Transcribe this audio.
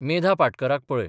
मेधा पाटकराक पळय.